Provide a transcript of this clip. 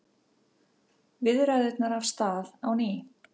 Viðræðurnar af stað á ný